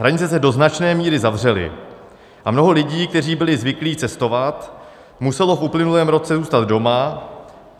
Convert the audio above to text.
Hranice se do značné míry zavřely a mnoho lidí, kteří byli zvyklí cestovat, muselo v uplynulém roce zůstat doma.